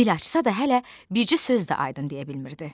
Dil açsa da hələ bircə söz də Aydın deyə bilmirdi.